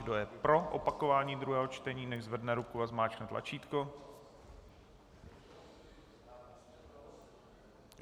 Kdo je pro opakování druhého čtení, nechť zvedne ruku a zmáčkne tlačítko.